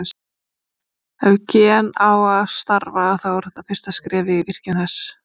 Ef gen á að starfa þá er þetta fyrsta skrefið í virkjun þess.